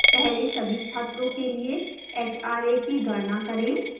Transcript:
पहले सभी छात्रों के लिए hra की गणना करें